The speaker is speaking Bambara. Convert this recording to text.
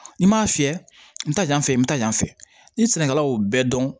N'i m'a fiyɛ n ta yan fɛ n bɛ taa yan fɛ ni sɛnɛkɛla y'o bɛɛ dɔn